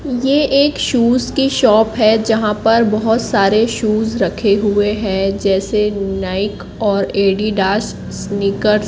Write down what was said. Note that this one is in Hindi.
ये एक शूज की शॉप है जहाँ पर बहोत सारे शूज रखे हुए हैं जैसे नाइक और एडीडास स्नीकर्स --